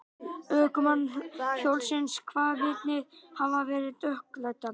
Ökumann hjólsins kvað vitnið hafa verið dökkklæddan.